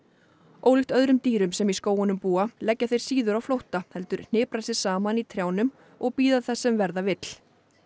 ólíkt öðrum dýrum sem í skógunum búa leggja þeir síður á flótta heldur hnipra sig saman í trjánum og bíða þess sem verða vill